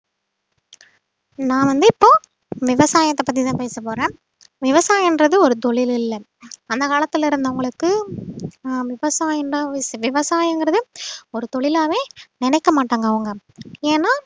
நான் வந்து இப்போ விவசாயத்தை பத்திதான் பேச போறேன் விவசாயன்றது ஒரு தொழில் இல்லை அந்த காலத்துல இருந்தவங்களுக்கு ஆஹ் விவசாயம்தான் விவசாயங்கறது ஒரு தொழிலாவே நினைக்க மாட்டாங்க அவங்க ஏன்னா